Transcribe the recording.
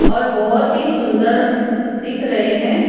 और बोहोत ही सुंदर दिख रहे हैं।